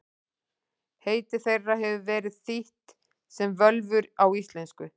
Heiti þeirra hefur verið þýtt sem völvur á íslensku.